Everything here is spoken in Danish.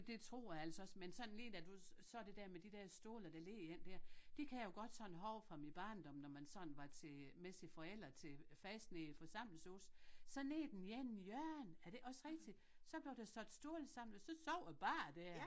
Det tror jeg altså også men sådan lige da du sagde det dér med de der stole der ligger ind dér det kan jeg jo godt sådan huske fra min barndom når man sådan var til med sine forældre til festen i forsamlingshus så nede i den anden hjørne er det ikke også rigtigt så blev der sat stole sammen og så sov jeg bare dér